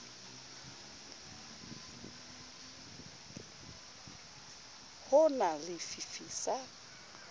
ho na le fifi sa